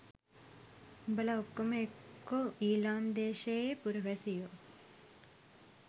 උබලා ඔක්කොම එක්කො ඊලම් දෙශයේ පුරවෑසියෝ